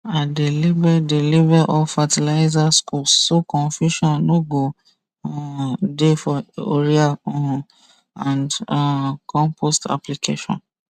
i dey label dey label all fertilizer scoops so confusion no go um dey for urea um and um compost application